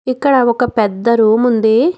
ఇక్కడ ఒక పెద్ద రూమ్ ఉంది.